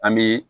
An bɛ